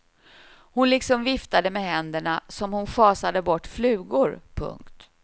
Hon liksom viftade med händerna som hon schasade bort flugor. punkt